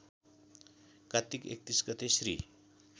कात्तिक ३१ गते श्री